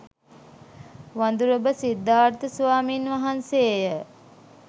වඳුරඹ සිද්ධාර්ථ ස්වාමීන් වහන්සේ ය.